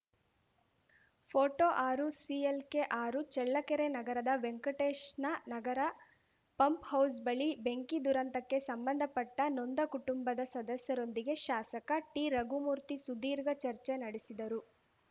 photo ಆರುಸಿಎಲ್‌ಕೆಆರು ಚಳ್ಳಕೆರೆ ನಗರದ ವೆಂಕಟೇಶ್‌ನ ನಗರ ಪಂಪ್‌ಹೌಸ್‌ ಬಳಿ ಬೆಂಕಿ ದುರಂತಕ್ಕೆ ಸಂಬಂಧಪಟ್ಟನೊಂದ ಕುಟುಂಬದ ಸದಸ್ಯರೊಂದಿಗೆ ಶಾಸಕ ಟಿರಘುಮೂರ್ತಿ ಸುಧೀರ್ಘ ಚರ್ಚೆ ನಡೆಸಿದರು